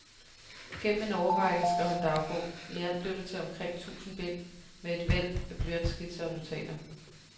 Gennem en årrække skrev han dagbog, i alt blev det til omkring tusind bind med et væld af blyantskitser og notater.